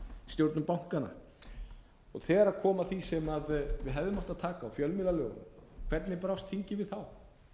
stjórnir bankanna þegar kom að því sem við hefðum átt að taka á fjölmiðlalögunum hvernig brást þingið við þá